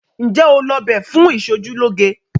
Ǹjẹ́ o lọ b fún ìṣojúlóge?